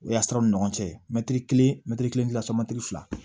O y'a siraw ni ɲɔgɔn cɛ mɛtiri kelen mɛtiri kelen dilanti fila